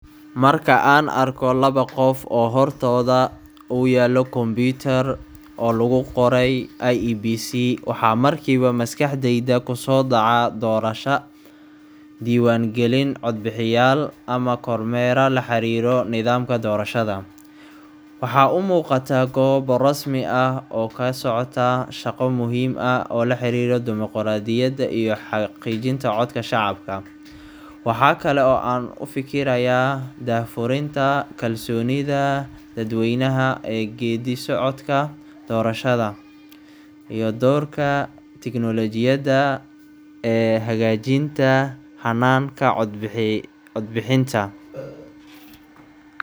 Marka aan arko laba qof oo hortooda uu yaallo kombiyuutar, oo lagu qoray IEBC, waxa markiiba maskaxdayda ku soo dhacaa doorasho, diiwaangelin codbixiyeyaal, ama kormeera la xiriiro nidaamka doorashada. Waxaa u muuqataa goob rasmi ah oo ka socoto shaqo muhiim ah oo la xiriira dimuqraadiyadda iyo xaqiijinta codka shacabka. Waxa kale oo aan u fekerayaa daahfurinta, kalsoonida dadweynaha ee geeddi-socodka doorashada, iyo doorka tignoolajiyadda ee hagaajinta hannaanka codbixinta.